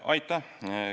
Aitäh!